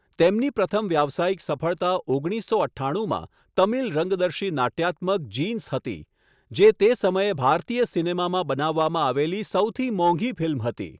તેમની પ્રથમ વ્યાવસાયિક સફળતા ઓગણીસસો અઠ્ઠાણુંમાં તમિલ રંગદર્શી નાટ્યાત્મક 'જીન્સ' હતી, જે તે સમયે ભારતીય સિનેમામાં બનાવવામાં આવેલી સૌથી મોંઘી ફિલ્મ હતી.